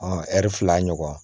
ɛri fila ɲɔgɔn